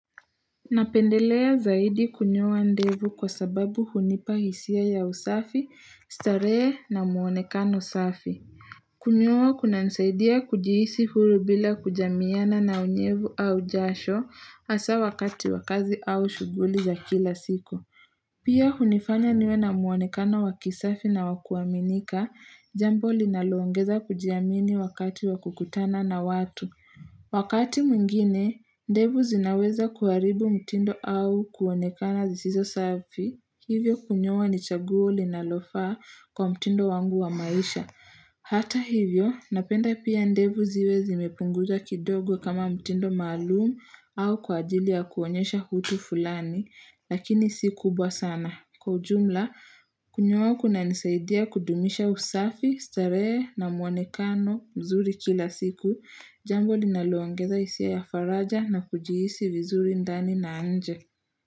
Napendelea zaidi kunyoa ndevu kwa sababu hunipa hisia ya usafi, starehe na mwonekano safi. Kunyoa kunanisaidia kujihisi huru bila kujamiana na unyevu au jasho hasa wakati wa kazi au shughuli za kila siku Pia hunifanya niwe na mwonekano wakisafi na wakuaminika jambo linaloongeza kujiamini wakati wakukutana na watu Wakati mwingine, ndevu zinaweza kuharibu mtindo au kuonekana zisizo safi, hivyo kunyoa ni chaguo linalofaa kwa mtindo wangu wa maisha. Hata hivyo, napenda pia ndevu ziwe zimepunguzwa kidogo kama mtindo maalum au kwa ajili ya kuonyesha utu fulani, lakini si kubwa sana. Kwa ujumla, kunyoa kunanisaidia kudumisha usafi, starehe na mwonekano mzuri kila siku, jambo linaloongeza hisia ya faraja na kujihisi vizuri ndani na nje.